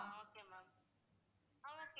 ஆஹ் okay ma'am அஹ் okay ma'am